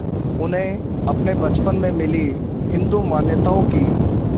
उन्हें अपने बचपन में मिली हिंदू मान्यताओं की